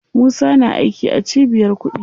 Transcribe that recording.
Musa na aiki a cibiyar kuɗi.